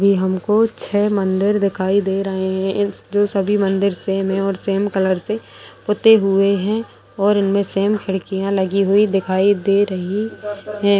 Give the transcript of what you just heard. ये हमको छै मंदिर दिखाई दे रहें हैं। इस सभी मंदिर सेम हैं और सेम कलर से पुते हुए हैं और इनमें सेम खिड़कियाँ लगी हुई दिखाई दे रही है।